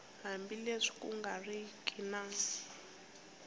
hambileswi ku nga riki na